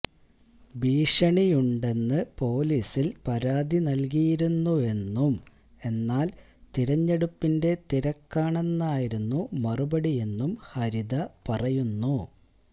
ഭീഷണിയുണ്ടെന്ന് പോലിസില് പരാതി നല്കിയിരുന്നുവെന്നും എന്നാല് തിരഞ്ഞെടുപ്പിന്റെ തിരക്കാണെന്നായിരുന്നു മറുപടിയെന്നും ഹരിത പറയുന്നു